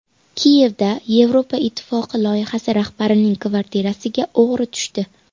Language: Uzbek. Kiyevda Yevropa Ittifoqi loyihasi rahbarining kvartirasiga o‘g‘ri tushdi.